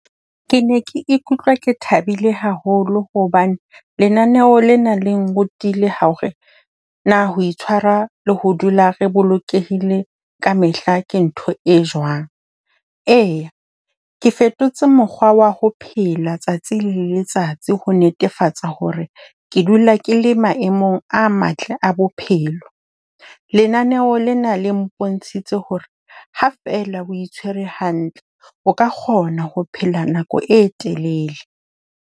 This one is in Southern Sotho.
Ke ne ke ikutlwa ke thabile haholo hobane lenaneo lena le nrutile hore na ho itshwara le ho dula re bolokehile ka mehla ke ntho e jwang. Eya, ke fetotse mokgwa wa ho phela tsatsi le letsatsi ho netefatsa hore ke dula ke le maemong a matle a bophelo. Lenaneo lena le mpontshitse hore ha fela o itshwere hantle, o ka kgona ho phela nako e telele.